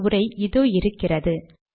ஆகவே உரை இதோ இருக்கிறது